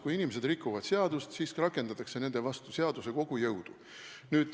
Kui inimesed rikuvad seadust, siis rakendatakse nende vastu seaduse kogu jõudu.